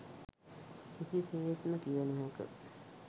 කිසිසේත්ම කිව නොහැක.